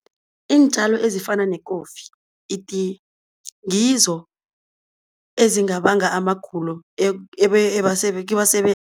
Iintjalo ezifana nekofi, itiye ngizo ezingabanga amagulo